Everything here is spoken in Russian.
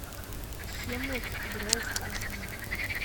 хемлок гроув аш ди